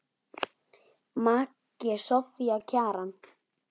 Maki Soffía Kjaran.